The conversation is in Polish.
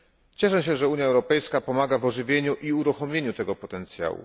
Cieszę się, że Unia Europejska pomaga w ożywieniu i uruchomieniu tego potencjału.